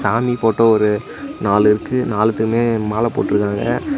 சாமி போட்டோ ஒரு நாலு இருக்கு நாளுத்துக்குமே மால போட்ருக்காங்க.